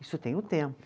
Isso tem um tempo.